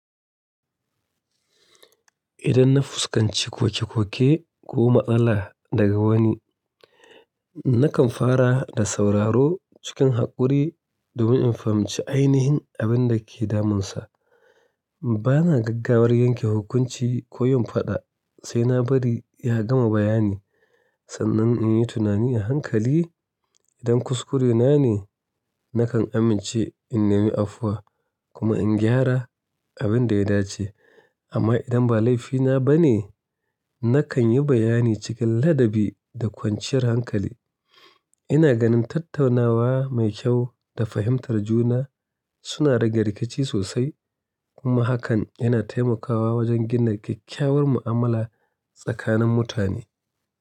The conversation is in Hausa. Idan na fuskanci koke-koke ko ma'ana daga wani, nakan fara da sauraro cikin haƙuri domin in fahimci ainihin abin da ke damunsa. Ba na gaggawar yanke hukunci ko yin faɗa sai na bari ya gama bayani sannan in yi tunani a hankali. Don kuskure na ne, nakan amince in nemi afuwa kuma in gyara abin da ya dace, amma idan ba laifina ba ne, nakan yi bayani cikin ladabi da kwanciyar hankali. Ina ganin tattaunawa mai kyau da fahimtar juna suna rage rikici sosai kuma hakan yana taimakawa wajen gina kyakkyawar mu'amala tsakanin mutane.